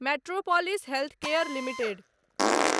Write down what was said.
metropolis Healthcare limited